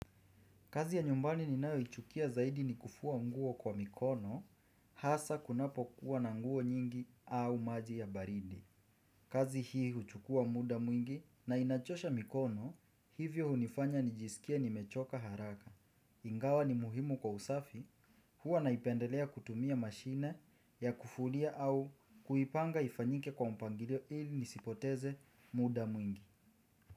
Kazi ya nyumbani ni nayo ichukia zaidi ni kufua nguo kwa mikono hasa kunapo kuwa na nguo nyingi au maji ya baridi. Kazi hii huchukua muda mwingi na inachosha mikono hivyo hunifanya nijisikie ni mechoka haraka. Ingawa ni muhimu kwa usafi huwa naipendelea kutumia mashine ya kufulia au kuipanga ifanyike kwa mpangilio ili nisipoteze muda mwingi.